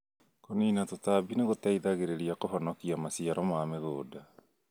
Kũnina tũtambi nĩgũteithagia kũhonokia maciaro ma mĩgũnda